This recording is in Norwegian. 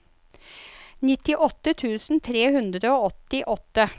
nittiåtte tusen tre hundre og åttiåtte